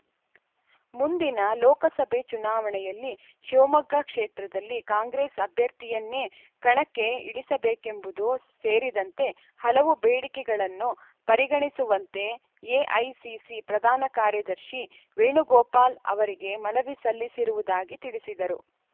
ಮುಂದಿನ ಲೋಕಸಭೆ ಚುನಾವಣೆಯಲ್ಲಿ ಶಿವಮೊಗ್ಗ ಕ್ಷೇತ್ರದಲ್ಲಿ ಕಾಂಗ್ರೆಸ್‌ ಅಭ್ಯರ್ಥಿಯನ್ನೇ ಕಣಕ್ಕೆ ಇಳಿಸಬೇಕೆಂಬುದು ಸೇರಿದಂತೆ ಹಲವು ಬೇಡಿಕೆಗಳನ್ನು ಪರಿಗಣಿಸುವಂತೆ ಎಐಸಿಸಿ ಪ್ರಧಾನ ಕಾರ್ಯದರ್ಶಿ ವೇಣುಗೋಪಾಲ್‌ ಅವರಿಗೆ ಮನವಿ ಸಲ್ಲಿಸಿರುವುದಾಗಿ ತಿಳಿಸಿದರು